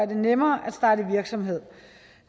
det nemmere at starte virksomhed